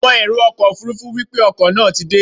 Àwọn èrò ọkọ̀ Òfurufú wípé ọkọ̀ náà ti dé.